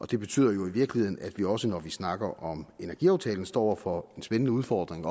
det betyder i virkeligheden at vi også når vi snakker om energiaftalen står over for en spændende udfordring